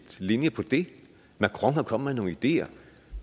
linje på det macron er kommet med nogle ideer